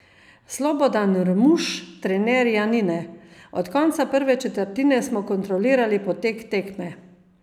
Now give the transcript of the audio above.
Slobodan Rmuš, trener Janine: "Od konca prve četrtine smo kontrolirali potek tekme.